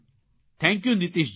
thank you Nitishji